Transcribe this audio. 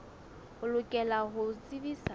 o lokela ho o tsebisa